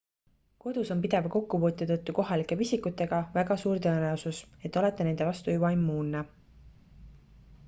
kodus on pideva kokkupuute tõttu kohalike pisikutega väga suur tõenäosus et olete nende vastu juba immuunne